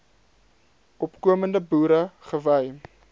opkomende boere gewy